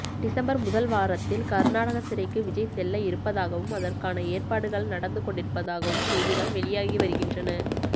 December முதல் வாரத்தில் கர்நாடக சிறைக்கு விஜய் செல்ல இருப்பதாகவும் அதற்கான ஏற்பாடுகள் நடந்து கொண்டிருப்பதாகவும் செய்திகள் வெளியாகி வருகின்றன